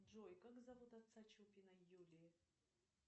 джой как зовут отца чупиной юлии